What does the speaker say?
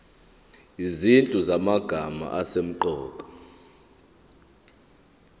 izinhlu zamagama asemqoka